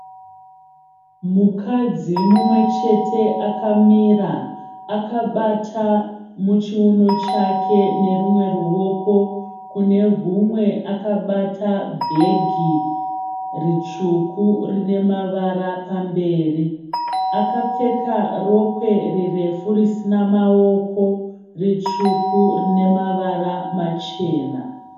Mukadzi mumwe chete akamira. Akabata muchiuno chake nerumwe ruoko kune rumwe akabata bhegi ritsvuku rine mavara pamberi. Akapfeka rokwe rirefu risina maoko ritsvuku rine mavara machena.